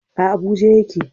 A Abuja ya ke